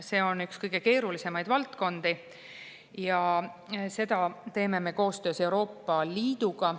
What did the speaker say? See on üks kõige keerulisemaid valdkondi ja seda teeme me koostöös Euroopa Liiduga.